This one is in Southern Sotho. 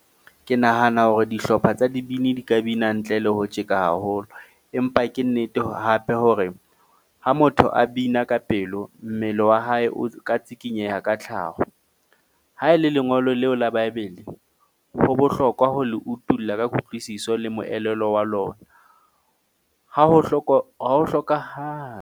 Ke nahana hore dihlopha tsa dibini di ka bina ntle le ho tjeka haholo, empa ke nnete hape hore ha motho a bina ka pelo, mmele wa hae o ka tshikinyeha ka ka tlhaho. Ha e le lengolo leo la baebele ho bohlokwa ho le utulla ka kutlwisiso le moelelo wa lona ha ho .